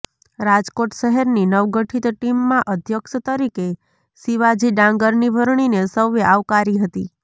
રાજકોટ શહેરની નવગઠિત ટીમમાં અધ્યક્ષ તરીકે શિવાજી ડાંગરની વરણીને સૌએ આવકારી હતી